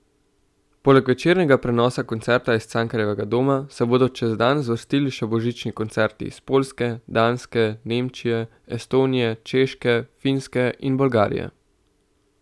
Poleg večernega prenosa koncerta iz Cankarjevega doma se bodo čez dan zvrstili še božični koncerti iz Poljske, Danske, Nemčije, Estonije, Češke, Finske in Bolgarije.